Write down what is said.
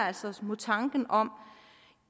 altså imod tanken om